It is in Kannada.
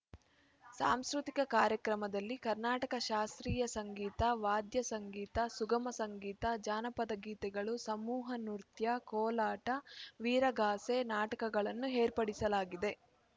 ಸಾಂಸ್ಕೃತಿಕ ಕಾರ್ಯಕ್ರಮದಲ್ಲಿ ಕರ್ನಾಟಕ ಶಾಸ್ತ್ರೀಯ ಸಂಗೀತ ವಾದ್ಯಸಂಗೀತ ಸುಗಮ ಸಂಗೀತ ಜಾನಪದ ಗೀತೆಗಳು ಸಮೂಹನೃತ್ಯ ಕೋಲಾಟ ವೀರಗಾಸೆ ನಾಟಕಗಳನ್ನು ಏರ್ಪಡಿಸಲಾಗಿದೆ